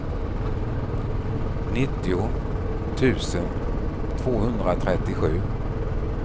nittio tusen tvåhundratrettiosju